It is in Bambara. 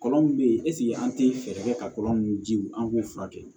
Kɔlɔn min be yen ɛseke an te fɛɛrɛ kɛ ka kɔlɔn jiw an k'u furakɛ